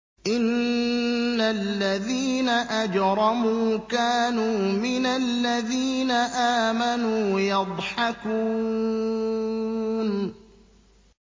إِنَّ الَّذِينَ أَجْرَمُوا كَانُوا مِنَ الَّذِينَ آمَنُوا يَضْحَكُونَ